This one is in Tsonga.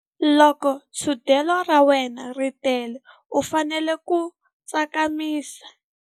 Loko thundelo ra wena ri tele u fanele ku tsakamisa.